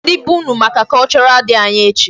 Gwa ndị be unu maka Cultural Day anyị echi.